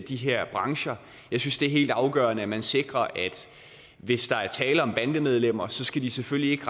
de her brancher jeg synes det er helt afgørende at man sikrer at hvis der er tale om bandemedlemmer skal de selvfølgelig ikke